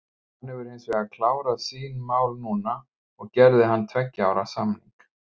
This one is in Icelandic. Hann hefur hinsvegar klárað sín mál núna og gerði hann tveggja ára samning.